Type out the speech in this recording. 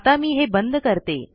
आता मी हे बंद करते